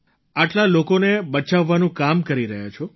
આટલા લોકોને બચાવવાનું કામ કરી રહ્યા છો